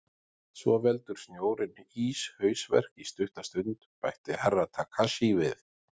Svo veldur snjórinn íshausverk í stutta stund, bætti Herra Takashi við.